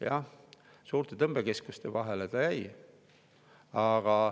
Jah, suurte tõmbekeskuste vahele see jäi.